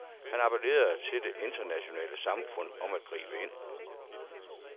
Han appelerede til det internationale samfund om at gribe ind.